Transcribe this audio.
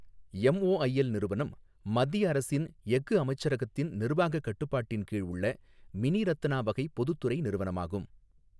MOIL நிறுவனம், மத்திய அரசின் எஃகு அமைச்சகத்தின் நிர்வாகக் கட்டுப்பாட்டின் கீழ் உள்ள மினிரத்னா வகை பொதுத்துறை நிறுவனமாகும்.